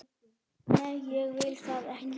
Nei, ég vil það ekki.